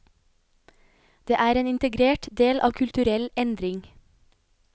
Det er en integrert del av kulturell endring.